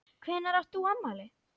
Hvenær átt þú afmæli?